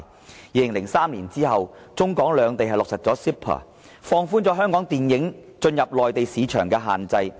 自2003年起，中港兩地落實 CEPA， 放寬香港電影進入內地市場的限制。